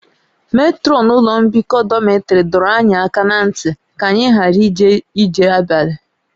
Metrọnụ ụlọ mbikọ dọmịtrị dọrọ anyị aka ná ntị ka anyị ghara ije ije abalị